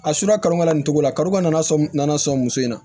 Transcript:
A susula karo ka na nin cogo la kariko nana sɔn nana sɔn muso in na